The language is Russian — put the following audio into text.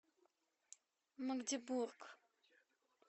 магдебург